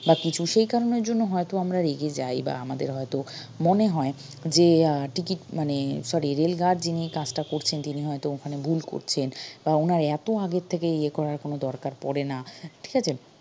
বা কিছু সেই কারনের জন্য হয়তো আমরা রেগে যাই বা আমাদের হয়ত মনে হয় যে আহ ticket মানে sorry rail guard যিনি কাজটা করছেন তিনি হয়ত ওখানে ভুল করছেন বা উনার এত আগে থেকে ইয়ে করার কোনো দরকার পড়ে না ঠিকাছে